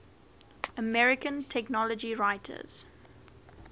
american technology writers